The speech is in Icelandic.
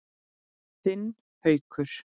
Þinn Haukur.